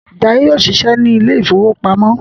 Jaiye yóò ṣiṣẹ ní ilè ìfowópamọ́